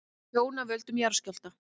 Tjón af völdum jarðskjálfta